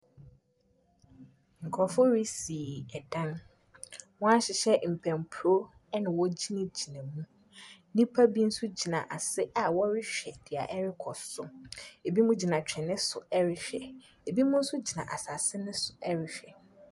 Nkurɔfoɔ resi dan, wɔn ahyehyɛ mpampro na wɔgyinagyina mu, nnipa bi nso gyina ase a wɔrehwɛ deɛ ɛrekɔ so, binom gyina twene so ɛrehwɛ, binom nso gyina asaase ne so ɛrehwɛ.